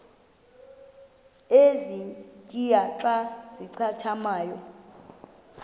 ezintia xa zincathamayo